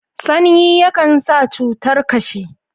sanyi ya Kan sa cutar kashi